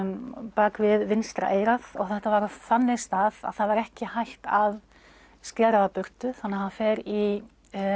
bak við vinstra eyrað þetta var á þannig stað að það var ekki hægt að skera það burtu þannig að hann fer í